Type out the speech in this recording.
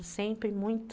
Sempre muito